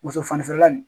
Muso fanfɛla nin